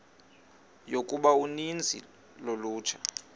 yokuba uninzi lolutsha